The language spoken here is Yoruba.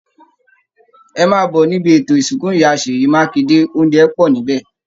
Ẹ máà bọ̀ níbi ètò ìsìnkú ìyá Sèyí Mákinde, òunjẹ pọ̀ níbẹ̀!